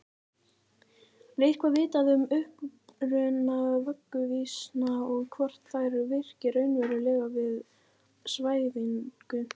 Er eitthvað vitað um uppruna vögguvísna og hvort þær virki raunverulega við svæfingu?